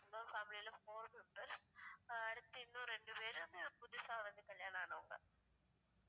இன்னொரு family ல four members அஹ் அடுத்து இன்னும் ரெண்டு பேர் வந்து புதுசா வந்து கல்யாணம் ஆனவங்க